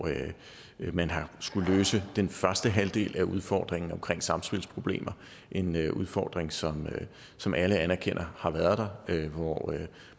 man har skullet løse den første halvdel af udfordringen omkring samspilsproblemer en udfordring som som alle anerkender har været der